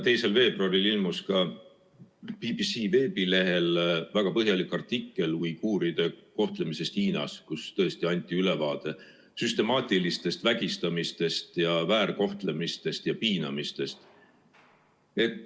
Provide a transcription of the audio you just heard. " 2. veebruaril ilmus ka BBC veebilehel väga põhjalik artikkel uiguuride kohtlemisest Hiinas, selles anti ülevaade süstemaatilisest vägistamisest ja väärkohtlemisest ja piinamisest.